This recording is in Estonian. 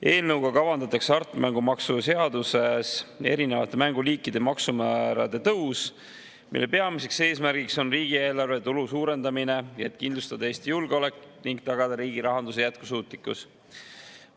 Eelnõuga kavandatakse hasartmängumaksu seaduses erinevate mänguliikide maksumäärade tõus, mille peamine eesmärk on riigieelarve tulu suurendamine, et kindlustada Eesti julgeolek ning tagada riigi rahanduse jätkusuutlikkus.